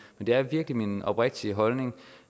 det er virkelig min oprigtige holdning